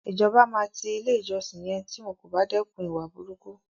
Ìjọba máa ti ilé ìjọsìn yẹn tí wọn kò bá dẹ́kun ìwà burúkú.